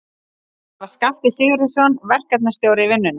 Það var Skafti Sigurjónsson, verkstjórinn í vinnunni.